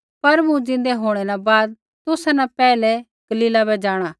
पर मूँ ज़िन्दै होंणै न बाद तुसा न पैहलै गलीला बै जाँणा